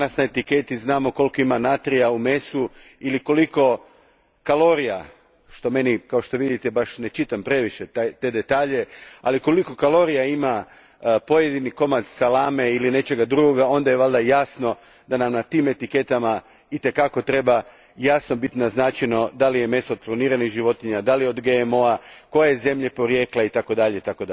Ako danas na etiketi znamo koliko ima natrija u mesu ili koliko kalorija, što ja kao što vidite, ne čitam previše te detalje, ali koliko kalorija ima pojedini komad salame ili nečega drugoga, onda je valjda jasno da na tim etiketama itekako jasno treba biti naznačeno da li je meso od kloniranih životinja, da li je od GMO a, koja je zemlja porijekla, itd.